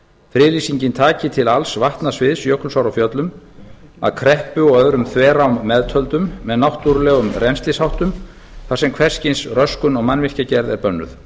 friðlýsingin taki til alls vatnasviðs jökulsár á fjöllum að kreppu og öðrum þverám meðtöldum með háttar legg rennslisháttum þar sem hvers kyns röskun og mannvirkjagerð er bönnuð